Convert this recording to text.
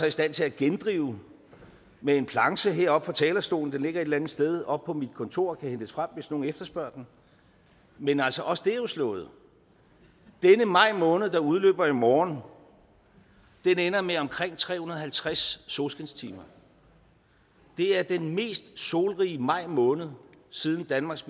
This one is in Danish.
i stand til at gendrive med en planche heroppe fra talerstolen den ligger et eller andet sted oppe på mit kontor og kan hentes frem hvis nogen efterspørger den men altså også det er jo slået denne maj måned der udløber i morgen ender med omkring tre hundrede og halvtreds solskinstimer det er den mest solrige maj måned siden danmarks